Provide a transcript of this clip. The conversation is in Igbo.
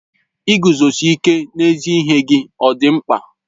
Iguzosi ike n'ezi ihe gị ọ dị mkpa?